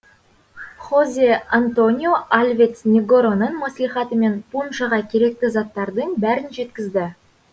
хозе антонио альвец негороның мәслихатымен пуншаға керекті заттардың бәрін жеткізді